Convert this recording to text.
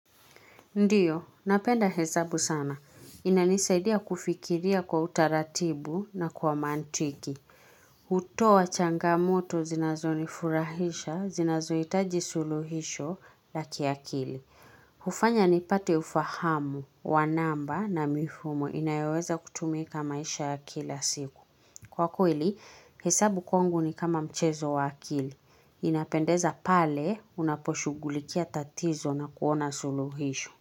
Ndiyo, napenda hesabu sana. Inanisaidia kufikiria kwa utaratibu na kwa mantiki. Utoa changamoto zinazo nifurahisha, zinazo itaji suluhisho la kiakili. Hufanya ni pate ufahamu wanamba na mifumo inayoweza kutumika maisha ya kila siku. Kwa kweli, hesabu kwangu ni kama mchezo wa akili. Inapendeza pale unaposhughulikia tatizo na kuona suluhisho.